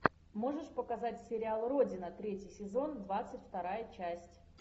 можешь показать сериал родина третий сезон двадцать вторая часть